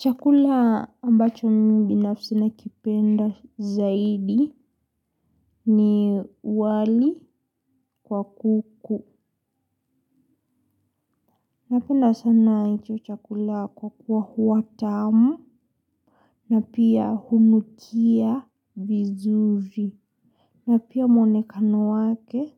Chakula ambacho mimi binafsi nakipenda zaidi ni wali kwa kuku. Napenda sana hicho chakula kwa kuwa huwa tamu na pia hunukia vizuri na pia mwonekano wake